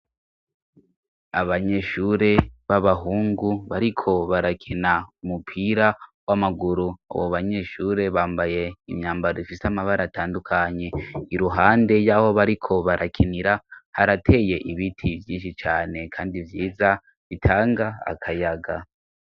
Abanyeshure b'abahungu bariko barakena umupira w'amaguru abo banyeshure bambaye imyambaro ifise amabara atandukanye iruhande y'aho bariko barakenira harateye ibiti byinshi cane kandi byiza bitanga akayaga.